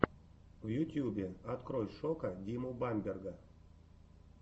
в ютьюбе открой шока диму бамберга